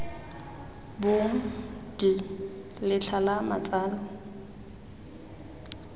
bong d letlha la matsalo